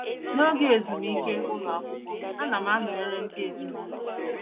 N’oge ezumike ụlọ akwụkwọ, ana m anọnyere ndị ezinụlọ m.